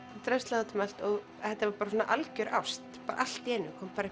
drösla út um allt þetta var bara algjör ást allt í einu kom bara